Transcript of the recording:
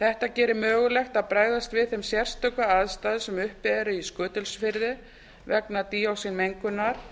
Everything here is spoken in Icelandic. þetta gerir mögulegt að bregðast við þeim sérstöku aðstæðum sem uppi eru í skutulsfirði vegna díoxínmengunar